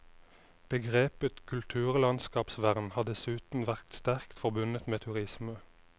Begrepet kulturlandskapsvern har dessuten vært sterkt forbundet med turisme.